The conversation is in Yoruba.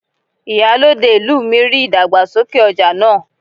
Ìyálòde ìlú mi ríi ìdàgbàsókè ọja náà.